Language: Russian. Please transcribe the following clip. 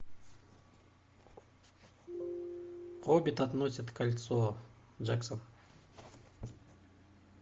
хоббит относит кольцо джексон